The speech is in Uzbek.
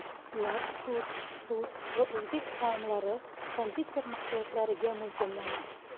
Ular turk, rus va o‘zbek taomlari, konditer mahsulotlariga mo‘ljallanadi.